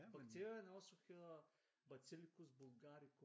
Bakterien også hedder baktellikus bulgaricum